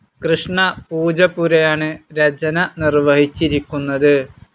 കൃഷ്ണ പൂജപ്പുരയാണ് രചന നിർവ്വഹിച്ചിരിക്കുന്നത്.